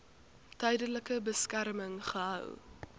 tydelike beskerming gehou